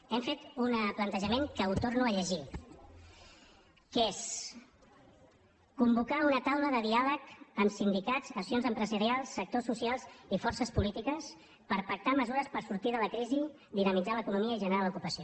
hem fet una plantejament que ho torno a llegir que és convocar una taula de diàleg amb sindicats associacions empresarials sectors socials i forces polítiques per pactar mesures per sortir de la crisi dinamitzar l’economia i generar l’ocupació